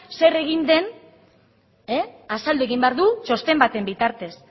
zer egin den azaldu egin behar du txosten baten bitartez